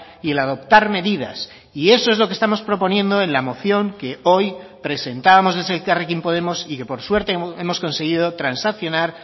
y el adoptar medidas y eso es lo que estamos proponiendo en la moción que hoy presentábamos desde elkarrekin podemos y que por suerte hemos conseguido transaccionar